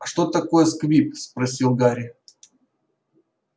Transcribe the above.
а что такое сквиб спросил гарри